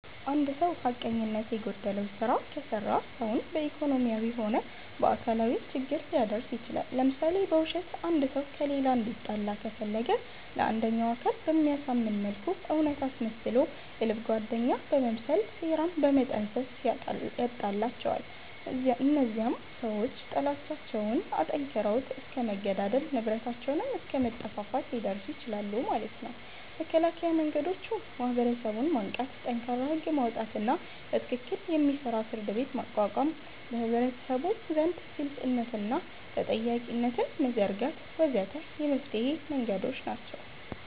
እንድ ሰዉ ሐቀኝነት የጎደለዉ ስራ ከሰራ ሰዉን በኢኮኖሚያዊም ሆነ በአካላዊ ችግር ሊያደርስ ይችላል ለምሳሌ፦ በዉሸት አንድ ሰዉ ከሌላ እንዲጣላ ከፈለገ ለአንደኛዉ አካል በሚያሳምን መልኩ እዉነት አስመስሎ የልብ ጓደኛ በመምሰል ሴራን በመጠንሰስ ያጣላቸዋል እነዚያም ሰዎች ጥላቻዉን አጠንክረዉት እስከ መገዳደል፣ ንብረታቸዉንም አስከ መጠፋፋት ሊደርሱ ይችላሉ ማለት ነዉ። መከላከያ መንገዶች፦ ማህበረሰቡን ማንቃት፣ ጠንካራ ህግ ማዉጣትና በትክክል የሚሰራ ፍርድቤት ማቋቋም፣ በህብረተሰቡ ዘንድ ግልፅነትንና ተጠያቂነትን መዘርጋት ወ.ዘ.ተ የመፍትሔ መንገዶች ናቸዉ።